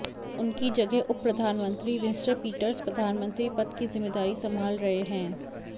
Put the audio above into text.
उनकी जगह उपप्रधानमंत्री विंस्टर पीटर्स प्रधानमंत्री पद की ज़िम्मेदारी संभाल रहे हैं